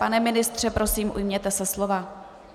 Pane ministře, prosím, ujměte se slova.